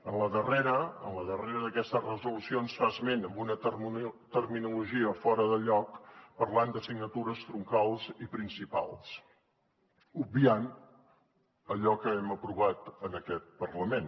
en la darrera en la darrera d’aquestes resolucions en fa esment amb una terminologia fora de lloc parlant d’assignatures troncals i principals obviant allò que hem aprovat en aquest parlament